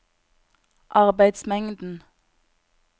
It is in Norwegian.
arbeidsmengden